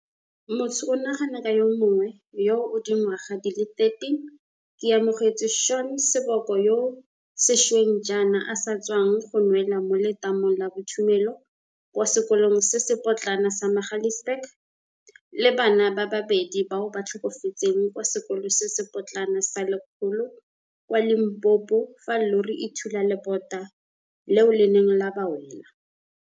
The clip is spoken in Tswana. Motho o nagana ka yo mongwe yo o dingwaga di le 13, Keamohetswe Shaun Seboko, yoo sešweng jaana a sa tswang go nwela mo letamong la bothumelo kwa sekolong se se potlana sa Magaliesburg, le bana ba babedi bao ba tlhokafetseng kwa Sekolo se se Potlana sa Lekgolo kwa Limpopo fa llori e thula lebota leo le neng la ba wela.